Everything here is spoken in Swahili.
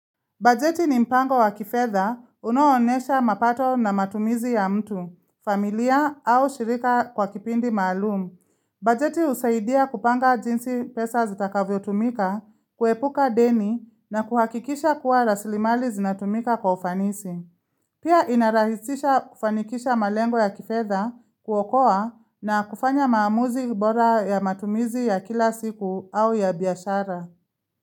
Bajeti ni mpango wa kifedha unao onyesha mapato na matumizi ya mtu, familia au shirika kwa kipindi maalumu. Bajeti husaidia kupanga jinsi pesa zitakavyotumika, kuepuka deni na kuhakikisha kuwa rasilimali zinatumika kwa ufanisi. Pia inarahisisha kufanikisha malengo ya kifedha kuokoa na kufanya maamuzi bora ya matumizi ya kila siku au ya biashara.